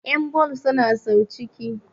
yanbal suna sa sau ciki